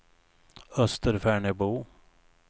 Österfärnebo